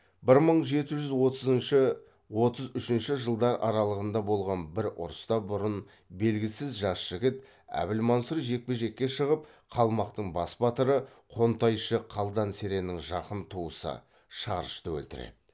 бір мың жеті жүз отызыншы отыз үшінші жылдар аралығында болған бір ұрыста бұрын белгісіз жас жігіт әбілмансұр жекпе жекке шығып қалмақтың бас батыры қонтайшы қалдан сереннің жақын туысы шарышты өлтіреді